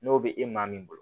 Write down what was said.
N'o bɛ e maa min bolo